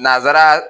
Nanzsara